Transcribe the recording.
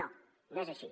no no és així